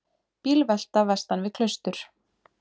Bílvelta vestan við Klaustur